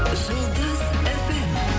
жұлдыз фм